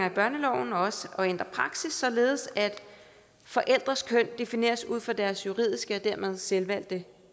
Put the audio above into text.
i børneloven og også at ændre praksis således at forældres køn defineres ud fra deres juridiske og dermed selvvalgte